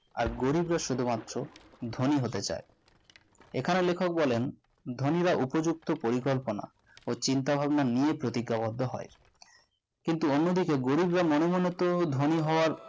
আর গরিবরা শুধুমাত্র ধনী হতে চাই এখানে লেখক বলেন ধনীরা উপযুক্ত পরিকল্পনা ও চিন্তাভাবনা নিয়ে প্রতিজ্ঞাবদ্ধ হয় কিন্তু অন্যদিকে গরিবরা মনে মনে তো ধনী হওয়ার